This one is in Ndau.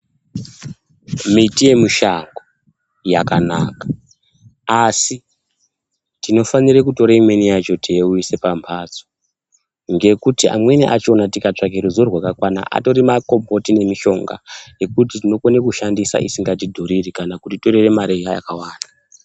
Miti yemushango yakanaka, asi tinofanire kutore imweni yacho teiuyise pamphatso, ngekuti amweni achina tikatsvakecruzivo rwakakwana, atoripo makomboti nemishonga, yekuti tinokone kushandisa isikatidhuriri, kana kutitorere mare iya yakawanda.